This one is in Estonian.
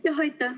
Aitäh!